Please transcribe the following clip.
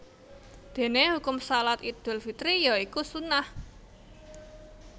Dene hukum Shalat Idul Fitri ya iku sunnah